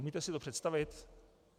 Umíte si to představit?